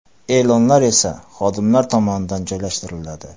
E’lonlar esa xodimlar tomonidan joylashtiriladi.